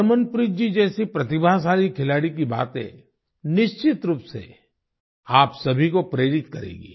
हरमनप्रीत जी जैसी प्रतिभाशाली खिलाड़ी की बातें निश्चित रूप से आप सभी को प्रेरित करेंगी